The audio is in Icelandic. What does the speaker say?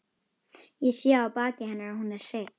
Ég sé á baki hennar að hún er hrygg.